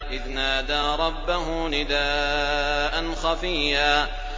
إِذْ نَادَىٰ رَبَّهُ نِدَاءً خَفِيًّا